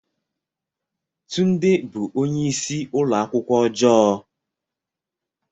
Tunde bụ onye isi ụlọ akwụkwọ ọjọọ.